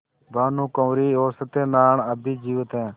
भानुकुँवरि और सत्य नारायण अब भी जीवित हैं